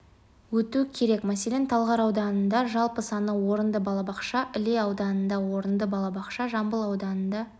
өту керек мәселен талғар ауданында жалпы саны орынды балабақша іле ауданында орынды балабақша жамбыл ауданында